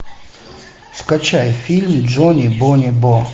скачай фильм джони бони бо